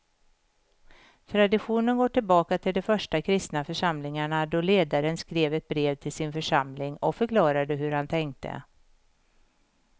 Traditionen går tillbaka till de första kristna församlingarna då ledaren skrev ett brev till sin församling och förklarade hur han tänkte.